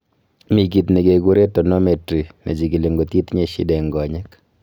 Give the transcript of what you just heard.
Mi kit negegure tonometry nechigili ngot itinye shida eng konyek